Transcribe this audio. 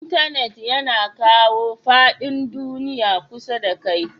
Intenet yana kawo fadin duniyya kusa da kai.